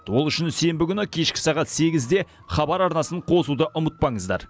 ол үшін сенбі күні кешкі сағат сегізде хабар арнасын қосуды ұмытпаңыздар